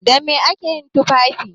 Da me ake yin tufafi?